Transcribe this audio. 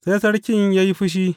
Sai sarkin ya yi fushi.